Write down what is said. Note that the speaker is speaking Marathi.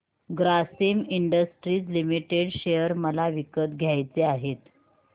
ग्रासिम इंडस्ट्रीज लिमिटेड शेअर मला विकत घ्यायचे आहेत